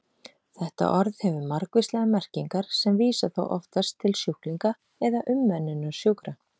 Þetta orð hefur margvíslegar merkingar sem vísa þó oftast til sjúklinga eða umönnunar sjúkra.